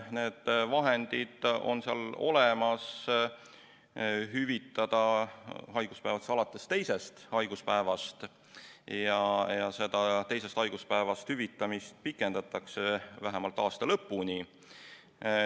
Need vahendid on seal olemas, et hüvitada haiguspäevad alates teisest haiguspäevast, ja seda teisest haiguspäevast hüvitamist pikendatakse vähemalt aasta lõpuni.